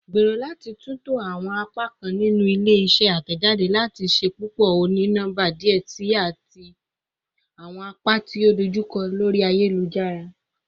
Gbero lati tunto awọn apakan ninu ile-iṣẹ atẹjade lati ṣepọpọ oni-nọmba diẹ sii ati awọn apa ti o dojukọ lori ayelujara